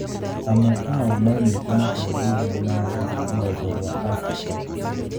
Amwe ao moimĩte mabũrũri-inĩ marĩa marĩ rũgongo rwa Afrika.